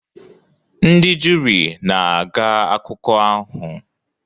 Ndị juri na-aga akụkọ ahụ